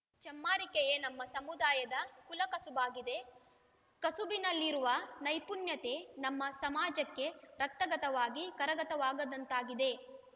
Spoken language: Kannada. ಚಮ್ಮಾರಿಕೆಯೇ ನಮ್ಮ ಸಮುದಾಯ ಕುಲಕಸುಬಾಗಿದೆ ಕಸುಬಿನಲ್ಲಿರುವ ನೈಪುಣ್ಯತೆ ನಮ್ಮ ಸಮಾಜಕ್ಕೆ ರಕ್ತಗತವಾಗಿ ಕರಗತವಾದಂಥದಾಗಿದೆ